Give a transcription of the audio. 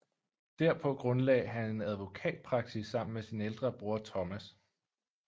Derpå grundlagde han en advokatpraksis sammen med sin ældre bror Thomas